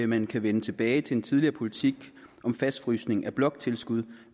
man kan vende tilbage til den tidligere politik om fastfrysning af bloktilskuddet